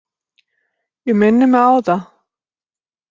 Ég minni mig á það.